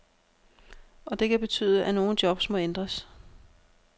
Og det kan betyde, at nogle jobs må ændres.